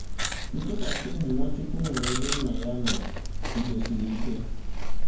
Ntụkwasịobi Nwachukwu nwere ebe nna ya nọ kwụdosiri ike